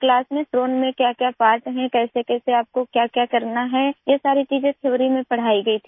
class में drone में क्या क्या पार्ट हैं कैसेकैसे आपको क्याक्या करना है ये सारी चीज़ें थियोरी में पढ़ाई गई थी